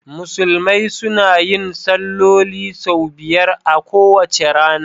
Musulmai suna yin salloli sau biyar a kowace rana.